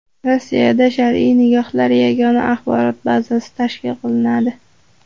Rossiyada shar’iy nikohlar yagona axborot bazasi tashkil qilinadi.